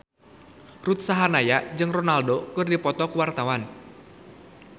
Ruth Sahanaya jeung Ronaldo keur dipoto ku wartawan